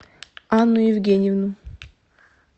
анну евгеньевну